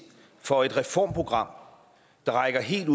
for et reformprogram der rækker helt ind